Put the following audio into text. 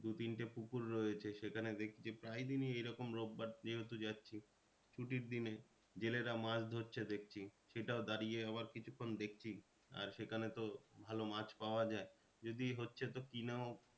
দু তিনটে পুকুর রয়েছে সেখানে দেখি যে প্রায় দিনই এরকম রোববার যেহেতু যাচ্ছি ছুটির দিনে জেলেরা মাছ ধরছি দেখছি। সেটাও দাঁড়িয়ে আবার কিছুক্ষন দেখছি আর সেখানে তো ভালো মাছ পাওয়া যায়। যদি হচ্ছে তো কিনাও